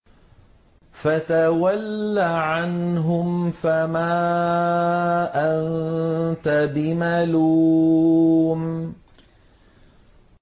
فَتَوَلَّ عَنْهُمْ فَمَا أَنتَ بِمَلُومٍ